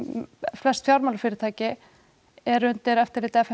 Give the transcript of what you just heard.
flest fjármálafyrirtæki eru undir eftirliti f m